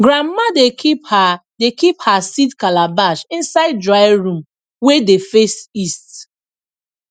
grandma dey keep her dey keep her seed calabash inside dry room wey dey face east